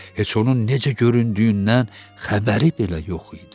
Heç onun necə göründüyündən xəbəri belə yox idi.